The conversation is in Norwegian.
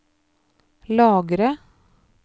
lagre